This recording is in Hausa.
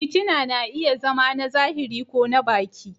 fitina na iya zama na zahiri ko na baki.